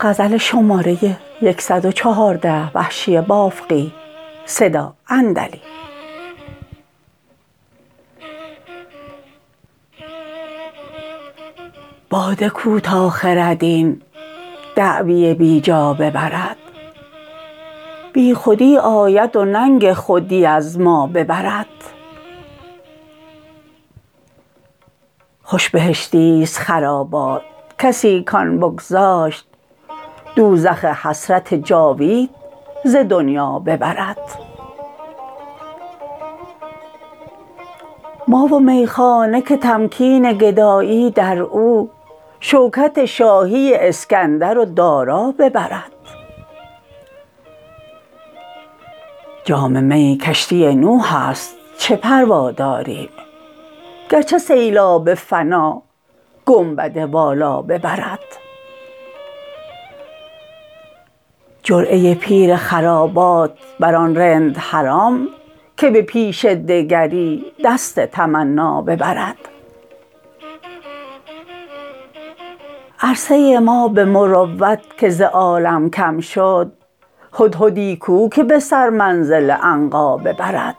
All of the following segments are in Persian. باده کو تا خرد این دعوی بیجا ببرد بی خودی آید و ننگ خودی از ما ببرد خوش بهشتیست خرابات کسی کان بگذاشت دوزخ حسرت جاوید ز دنیا ببرد ما و میخانه که تمکین گدایی در او شوکت شاهی اسکندر و دارا ببرد جام می کشتی نوح است چه پروا داریم گرچه سیلاب فنا گنبد والا ببرد جرعه پیر خرابات بر آن رند حرام که به پیش دگری دست تمنا ببرد عرصه ما به مروت که ز عالم کم شد هدهدی کو که به سر منزل عنقا ببرد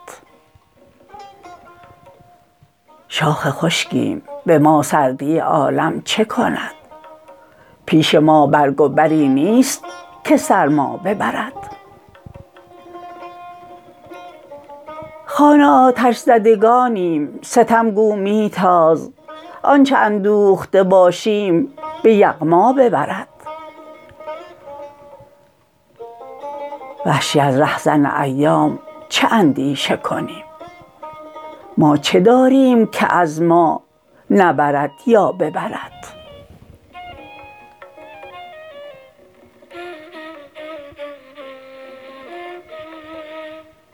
شاخ خشکیم به ما سردی عالم چه کند پیش ما برگ و بری نیست که سرما ببرد خانه آتش زدگانیم ستم گو میتاز آنچه اندوخته باشیم به یغما ببرد وحشی از رهزن ایام چه اندیشه کنیم ما چه داریم که از ما نبرد یا ببرد